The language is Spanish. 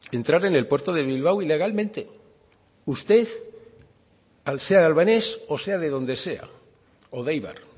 entrar en el puerto de bilbao ilegalmente usted al ser albanes o sea de donde sea o de eibar